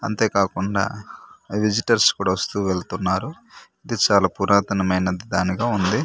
అంతే కాకుండా విజిటర్స్ కూడా వస్తూ వెళ్తున్నారు ఇది చాలా పురాతనమైన దానిగా ఉంది.